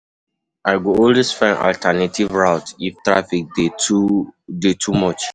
I go always find alternative routes if traffic dey too dey too much.